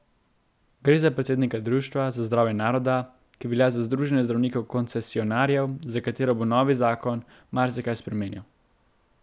Gre za predsednika Društva za zdravje naroda, ki velja za združenje zdravnikov koncesionarjev, za katere bo novi zakon marsikaj spremenil.